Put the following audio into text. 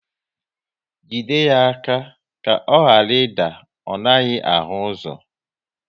Jide ya aka ka ọ ghara ị da, ọ naghị ahụ ụzọ!